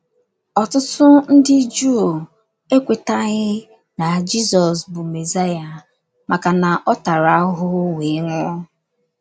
Ọtụtụ ndị Juu ekwetaghị na Jizọs bụ Mesaya maka na ọ tara ahụhụ wee nwụọ.